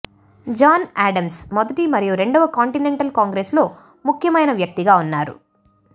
John Adams మొదటి మరియు రెండవ కాంటినెంటల్ కాంగ్రెస్స్లో ముఖ్యమైన వ్యక్తిగా ఉన్నారు